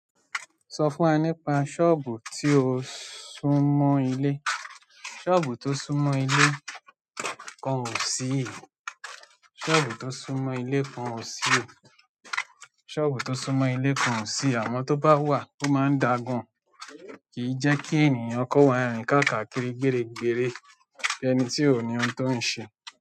Sọ fún wa nípa sọ́ọ̀bù tí o sún mọ́ ilé sọ́ọ̀bù tó sún mọ́ ilé kan ò sí. Sọ́ọ̀bù tó sún mọ́ ilé kan ò sí. Sọ́ọ̀bù tó sún mọ́ ilé kan ò sí. Àmọ́ tó bá wà, ó máa ń dàa gàn. Kì í jẹ́ kí ènìyàn kọ wa rín káàkà kiri gbere gbere bí ẹni tí ò ní ohun tó ń ṣe.